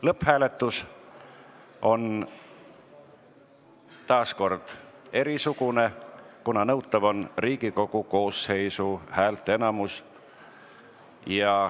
Lõpphääletus on erisugune, kuna otsuse vastuvõtmiseks on nõutav Riigikogu koosseisu häälteenamus.